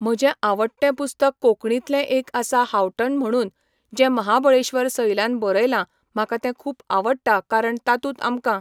म्हजें आवडटें पुस्तक कोंकणीतलें एक आसा हांवठण म्हणून जें महाबळेश्वर सैलान बरयलां म्हाका तें खूब आवट्टा कारण तातूंत आमकां